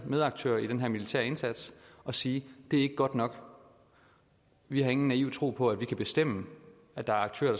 medaktører i denne militære indsats at sige det er ikke godt nok vi har ingen naiv tro på at vi kan bestemme at der er aktører